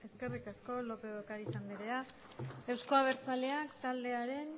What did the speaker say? eskerrik asko lópez de ocariz andrea euzko abertzaleak taldearen